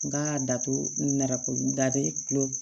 N ka dato nara ko datigɛ tulo